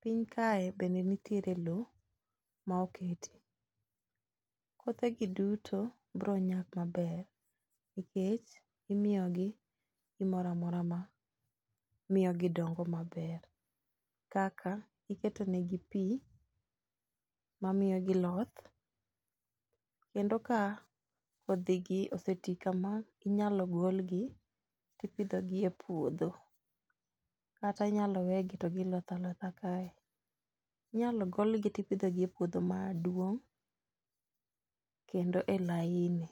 Piny kae bende nitiere lowo ma okete, kothegi duto bro nyak maber nikech imiyogi gimoro amora ma miyogi dongo maber, kaka iketo negi pi mamiyogi loth, kendo ka oseti kama ,inyalo golgi tipidhogi e puodho, kata inyalo wegi to giloth alotha kae. Inyalo golgi tipidhogi e puodho maduong' kendo e laini.